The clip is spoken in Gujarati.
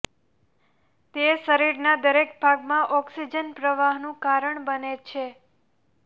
તે શરીરના દરેક ભાગમાં ઓક્સિજન પ્રવાહનું કારણ બને છે